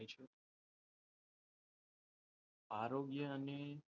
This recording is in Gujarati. આરોગ્યની,